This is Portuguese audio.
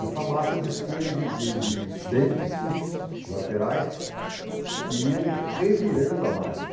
Essa massa dispunha de de de dentes fixos, laterais, que iam revirando a massa.